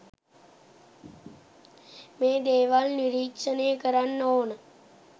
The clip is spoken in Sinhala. මේ දේවල් නිරීක්‍ෂණය කරන්න ඕන